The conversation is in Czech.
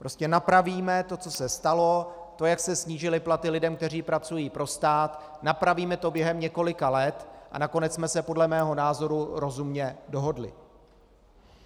Prostě napravíme to, co se stalo, to, jak se snížily platy lidem, kteří pracují pro stát, napravíme to během několika let a nakonec jsme se podle mého názoru rozumně dohodli.